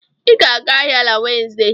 Ị ga-aga ahịa na Wenzday